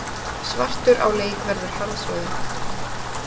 Svartur á leik verður harðsoðin